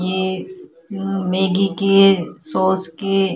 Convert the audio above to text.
ये मैगी के सॉस के--